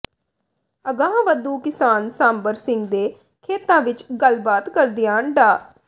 ਅਗਾਂਹਵਧੂ ਕਿਸਾਨ ਸਾਂਬਰ ਸਿੰਘ ਦੇ ਖੇਤਾਂ ਵਿੱਚ ਗੱਲਬਾਤ ਕਰਦਿਆਂ ਡਾ